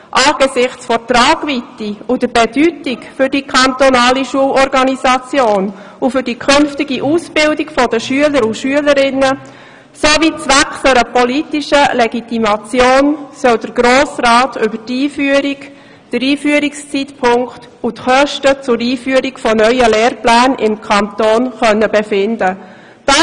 Angesichts der Tragweite und Bedeutung für die kantonale Schulorganisation und für die künftige Ausbildung der Schüler und Schülerinnen sowie zwecks einer politischen Legitimation soll der Grosse Rat über die Einführung, den Einführungszeitpunkt und die Kosten der Einführung von neuen Lehrplänen im Kanton befinden können.